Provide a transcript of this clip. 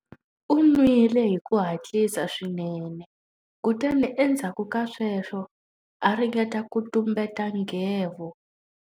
U nwile hi ku hatlisa swinene kutani endzhaku ka sweswo a ringeta ku tumbeta nghevo.